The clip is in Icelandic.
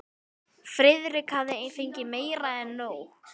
Friðrik hafði fengið meira en nóg.